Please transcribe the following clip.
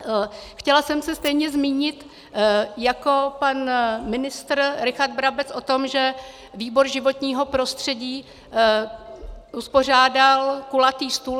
Chtěla jsem se stejně zmínit jako pan ministr Richard Brabec o tom, že výbor životního prostředí uspořádal kulatý stůl.